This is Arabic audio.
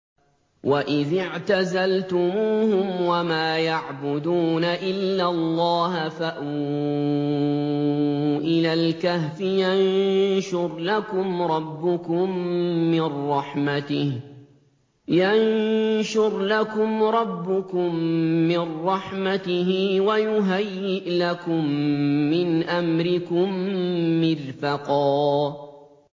وَإِذِ اعْتَزَلْتُمُوهُمْ وَمَا يَعْبُدُونَ إِلَّا اللَّهَ فَأْوُوا إِلَى الْكَهْفِ يَنشُرْ لَكُمْ رَبُّكُم مِّن رَّحْمَتِهِ وَيُهَيِّئْ لَكُم مِّنْ أَمْرِكُم مِّرْفَقًا